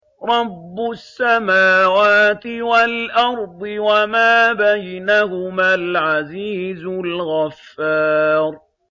رَبُّ السَّمَاوَاتِ وَالْأَرْضِ وَمَا بَيْنَهُمَا الْعَزِيزُ الْغَفَّارُ